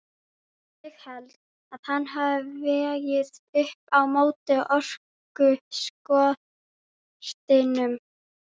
Ég held að hann hafi vegið upp á móti orkuskortinum.